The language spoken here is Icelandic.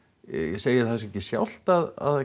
segir það sig ekki sjálft að